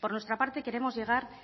por nuestra parte queremos llegar